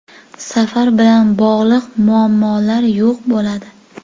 Safar bilan bog‘liq muammolar yo‘q bo‘ladi.